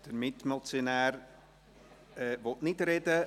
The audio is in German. Der Mitmotionär will nicht sprechen.